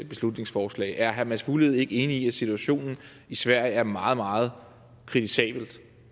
beslutningsforslag er herre mads fuglede ikke enig i at situationen i sverige er meget meget kritisabel